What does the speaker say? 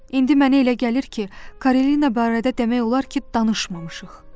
İndi mənə elə gəlir ki, Karolina barədə demək olar ki, danışmamışıq.